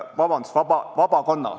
Vabandust!